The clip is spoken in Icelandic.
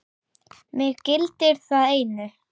Mig gildir það einu.